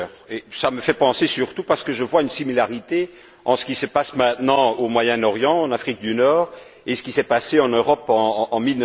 J'y pense surtout parce que je vois une similitude entre ce qui se passe maintenant au Moyen Orient, en Afrique du Nord, et ce qui s'est passé en Europe en